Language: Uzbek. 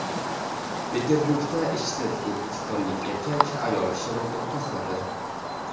Peterburgda ishsiz o‘zbekistonlik erkak ayol kishini do‘pposladi.